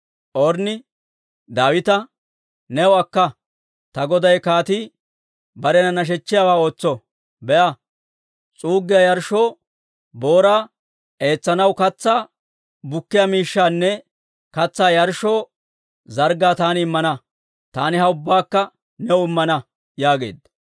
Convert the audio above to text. Ornni Daawita, «New akka; ta goday kaatii barena nashechchiyaawaa ootso. Be'a, s'uuggiyaa yarshshoo booraa, eetsanaw katsaa bukkiyaa miishshaanne katsaa yarshshoo zarggaa taani immana. Taani ha ubbaakka new immana» yaageedda.